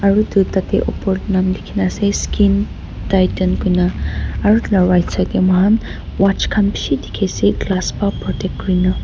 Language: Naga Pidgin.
edu tatae opor nam likhi na ase skinn titan koina aro edu la side tae mohan watch khan bishi dikhi ase glass pa protect kurina.